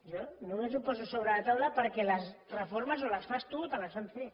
jo només ho poso sobre la taula perquè les reformes o les fas tu o te les fan fer